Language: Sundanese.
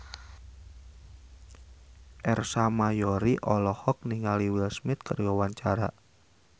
Ersa Mayori olohok ningali Will Smith keur diwawancara